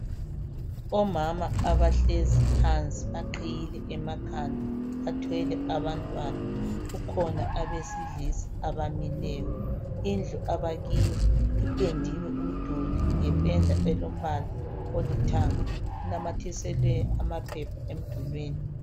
Omama abahlezi phansi baqhiyile emakhanda bathwele abantwana. Kukhona abesilisa abamileyo. Indlu abakiyo ipendiwe umduli ngependa elombala olithanga. Kunyanathiselwe amaphepha emdulini.